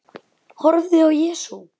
Horfði á Jesú.